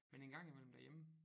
Men en gang imellem derhjemme